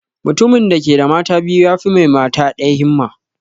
Mutumin da ke da mata biyu yafi mai mata ɗaya himma